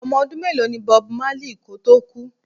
Ọmọ ọdún mélòó ní Bob marley kò tó kú?